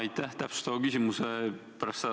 Aitäh!